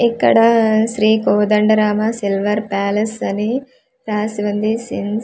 ఇక్కడా Shri Kodandarama silver palace అని రాసి వుంది సిన్స్ ప--